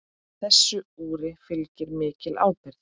Þessu úri fylgir mikil ábyrgð.